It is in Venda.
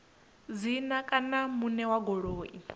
dzina kana muṋe wa goloi